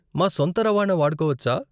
మా సొంత రవాణా వాడుకోవచ్చా?